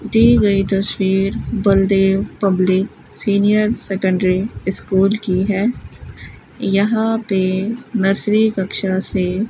दी गयी तस्वीर Baldev public senior secondary school की है यहां पे नर्सरी कक्षा से --